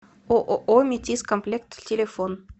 ооо метиз комплект телефон